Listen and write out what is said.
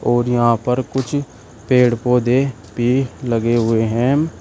और यहां पर कुछ पेड़ पौधे भी लगे हुए हैं।